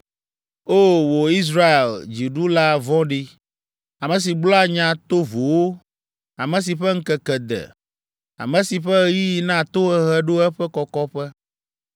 “ ‘O! Wò Israel dziɖula vɔ̃ɖi, ame si gblɔa nya tovowo, ame si ƒe ŋkeke de, ame si ƒe ɣeyiɣi na tohehe ɖo eƒe kɔkɔƒe,